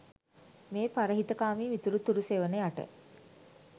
මේ පරහිතකාමී මිතුරු තුරු සෙවණ යට